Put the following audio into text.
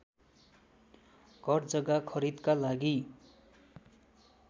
घरजग्गा खरिदका लागि